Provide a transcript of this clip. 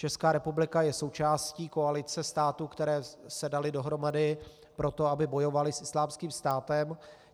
Česká republika je součástí koalice států, které se daly dohromady proto, aby bojovaly s Islámským státem.